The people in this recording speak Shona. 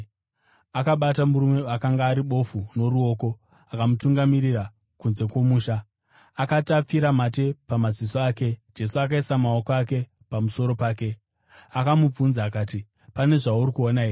Akabata murume akanga ari bofu noruoko akamutungamirira kunze kwomusha. Akati apfira mate pamaziso ake Jesu akaisa maoko ake pamusoro pake, akamubvunza akati, “Pane zvauri kuona here?”